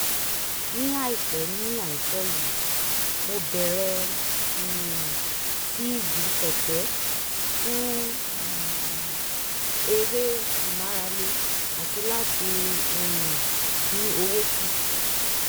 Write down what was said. ní àìpẹ́ ní àìpẹ́ yìí mo bẹ̀rẹ̀ um sí í gun kẹ̀kẹ́ fún eré ìmárale àti láti um dín owó kù